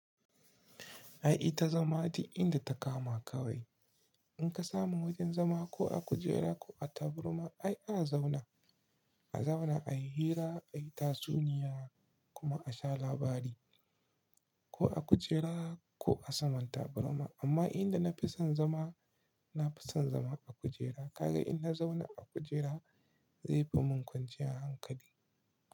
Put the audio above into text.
Ai ita zama ce inda ta kama kawai. In ka samu wajen zama ko a kujera ko a taburma ai a zauna, a zauna a yi hira, a yi tatsuniya kuma a sha labari ko a kujera ko a saman taburma. Amma inda na fi son zama, na fi son zama a kujera. Ka ga in na zauna a kujera zai bamu kwanciya hankali.